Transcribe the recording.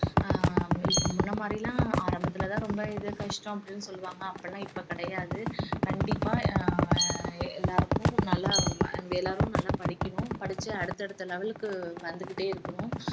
ஹம் இப்ப முன்ன மாதிரியெல்லாம் ஆரம்பத்துல தான் ரொம்ப இது கஷ்டம் அப்படின்னு சொல்லுவாங்க அப்படியெல்லாம் இப்ப கிடையாது கண்டிப்பா அஹ் எல்லாருக்கும் நல்லா எல்லாரும் நல்லா படிக்கணும் படிச்சு அடுத்தடுத்த level க்கு வந்துகிட்டே இருக்கணும்